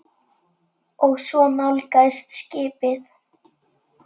Og svo nálgast skipið.